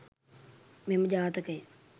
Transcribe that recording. මෙම ජාතකය